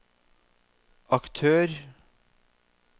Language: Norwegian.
aktør